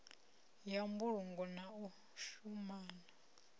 ya mbulungo na u shumana